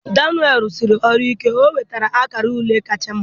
daniel rụsiri ọrụ ike, ọ nwetara akara ule kacha mma.